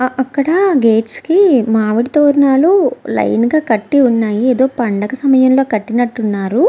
అక్కడ గేట్స్ కి మామిడి తోరణాలు లైన్ గా కట్టి ఉన్నాయి. ఏదో పండగ సమయంలో కట్టినట్టు ఉన్నారు.